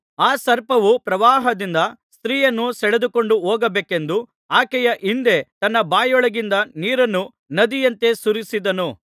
ಆ ಸರ್ಪನು ಪ್ರವಾಹದಿಂದ ಸ್ತ್ರೀಯನ್ನು ಸೆಳೆದುಕೊಂಡು ಹೋಗಬೇಕೆಂದು ಆಕೆಯ ಹಿಂದೆ ತನ್ನ ಬಾಯೊಳಗಿಂದ ನೀರನ್ನು ನದಿಯಂತೆ ಸುರಿಸಿದನು